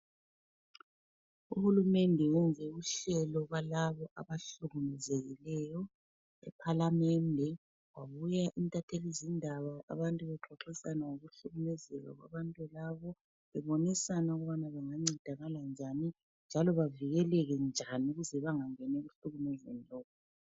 Uhulumende wenze uhlelo lwalabo abahlukumezekileyo ephalamende kwabuya intathelizindaba abantu bexoxisana ngokuhlukumezeka kwabantu labo bebonisana ukubana bengancedakala njani, njalo bavikeleke njani ukuze bangangeni ekuhlukumezweni.